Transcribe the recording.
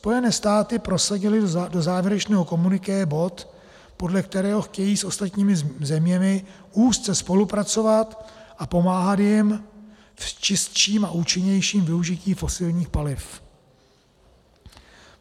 Spojené státy prosadily do závěrečného komuniké bod, podle kterého chtějí s ostatními zeměmi úzce spolupracovat a pomáhat jim v čistším a účinnějším využití fosilních paliv.